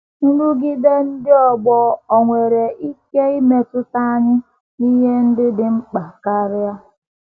Nrụgide um ndị ọgbọ ò nwere um ike imetụta anyị n’ihe ndị dị mkpa karị? um